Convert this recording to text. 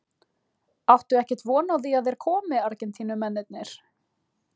Áttu ekkert von á að þeir komi Argentínumennirnir?